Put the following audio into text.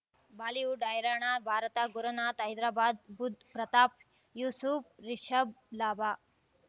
Bollywood ಹೈರಾಣ ಭಾರತ ಗುರುನಾಥ ಹೈದರಾಬಾದ್ ಬುಧ್ ಪ್ರತಾಪ್ ಯೂಸುಫ್ ರಿಷಬ್ ಲಾಭ